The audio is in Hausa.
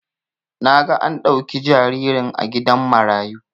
Naga an dauki jaririn a gidan marayu